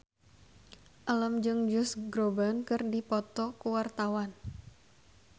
Alam jeung Josh Groban keur dipoto ku wartawan